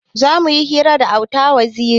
Zamuyi hira da auta waziri